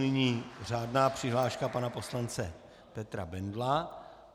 Nyní řádná přihláška pana poslance Petra Bendla.